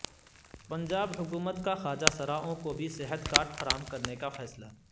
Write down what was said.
پنجاب حکومت کا خواجہ سرائوں کو بھی صحت کارڈ فراہم کرنے کا فیصلہ